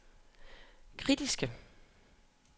kritiske